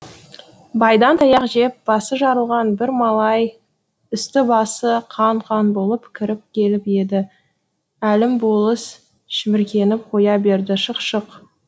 байдан таяқ жеп басы жарылған бір малай үсті басы қан қан болып кіріп келіп еді әлім болыс шіміркеніп қоя берді шық шық